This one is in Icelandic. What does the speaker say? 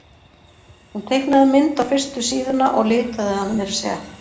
Hún teiknaði mynd á fyrstu síðuna og litaði hana meira að segja.